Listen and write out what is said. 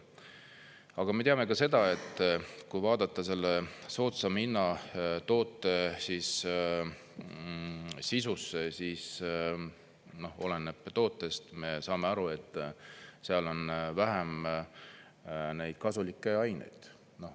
Aga me teame ka seda, et kui vaadata selle soodsama hinnaga toote sisusse, siis oleneb tootest, me saame aru, seal on vähem neid kasulikke aineid.